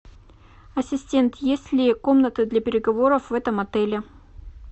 ассистент есть ли комната для переговоров в этом отеле